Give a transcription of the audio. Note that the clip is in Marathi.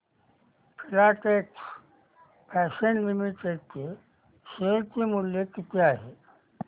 फिलाटेक्स फॅशन्स लिमिटेड चे शेअर मूल्य किती आहे